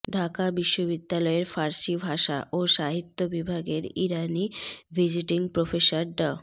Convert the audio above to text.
ঢাকা বিশ্ববিদ্যালয়ের ফার্সি ভাষা ও সাহিত্য বিভাগের ইরানি ভিজিটিং প্রফেসর ড